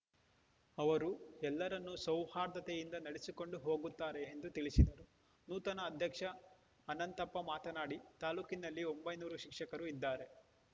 ಅವರು ಎಲ್ಲರನ್ನೂ ಸೌಹಾರ್ದತೆಯಿಂದ ನಡೆಸಿಕೊಂಡು ಹೋಗುತ್ತಾರೆ ಎಂದು ತಿಳಿಸಿದರು ನೂತನ ಅಧ್ಯಕ್ಷ ಅನಂತಪ್ಪ ಮಾತನಾಡಿ ತಾಲೂಕಿನಲ್ಲಿ ಒಂಬೈನೂರು ಶಿಕ್ಷಕರು ಇದ್ದಾರೆ